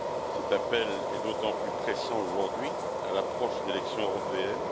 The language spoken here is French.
Cet appel est d'autant plus pressant aujourd'hui à l'approche des élections européennes.